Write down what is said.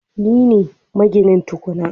Ni ne, maginin tukwane